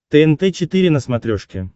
тнт четыре на смотрешке